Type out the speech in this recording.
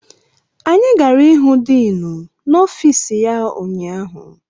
Anyị gara ịhụ diinu n'ọfiisi ya ụnyaahụ.